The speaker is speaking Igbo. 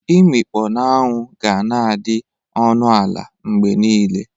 Imikpo n'anwụ ga-na adị ọnụ ala mgbe niile.